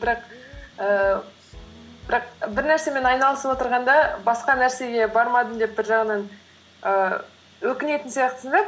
ііі бірақ бір нәрсемен айналысып отырғанда басқа нәрсеге бармадым деп бір жағынан ііі өкінетін сияқтысың да